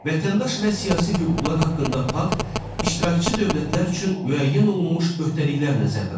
Vətəndaş və siyasi hüquqlar haqqında pakt iştirakçı dövlətlər üçün müəyyən olunmuş öhdəliklər nəzərdə tutur.